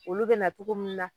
Olu be na togo min na